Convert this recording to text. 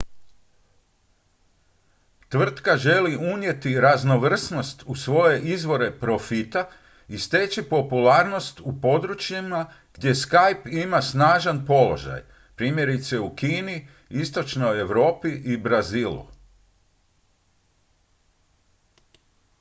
tvrtka želi unijeti raznovrsnost u svoje izvore profita i steći popularnost u područjima gdje skype ima snažan položaj primjerice u kini istočnoj europi i brazilu